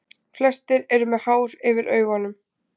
Flestir eru með hár yfir augunum.